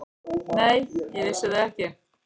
Nei, ég vissi það ekki.